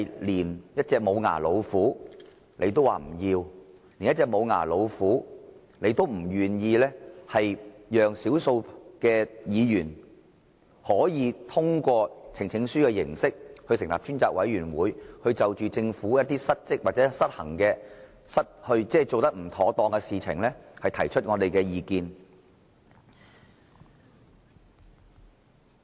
連一隻無牙老虎也容不下，他們不願意讓少數議員可以通過呈請書的形式成立專責委員會，就着政府一些失職，或者失衡，即做得不妥當的事情，提出我們的意見。